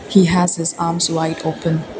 he has this arms wide open.